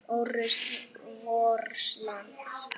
Ó rusl vors lands.